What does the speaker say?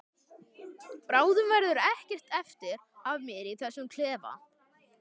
Bráðum verður ekkert eftir af mér í þessum klefa.